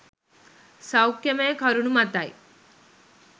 සෞඛ්‍යමය කරුණු මතයි.